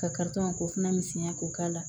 Ka k'o fana misɛnya k'o k'a la